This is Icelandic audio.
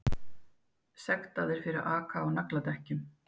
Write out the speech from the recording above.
Sektaðir fyrir að aka á nagladekkjum